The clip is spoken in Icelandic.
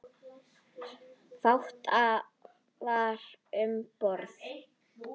Fátt var sagt um borð.